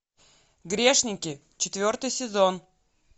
грешники четвертый сезон